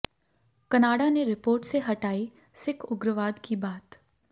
Canada ने report से हटाई सिख उग्रवाद की बात